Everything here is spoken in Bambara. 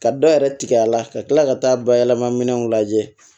Ka dɔ yɛrɛ tigɛ a la ka tila ka taa bayɛlɛma minɛnw lajɛ